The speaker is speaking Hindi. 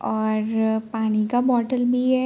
और पानी का बोटल भी है।